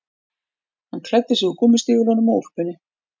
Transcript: Hann klæddi sig úr gúmmístígvélunum og úlpunni